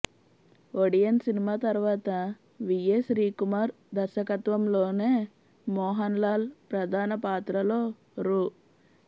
Odean cinema తర్వాత V A Shrikumar దర్శకత్వంలోనే మోహన్ లాల్ ప్రధాన పాత్రలో రూ